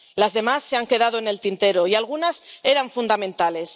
Las demás se han quedado en el tintero y algunas eran fundamentales.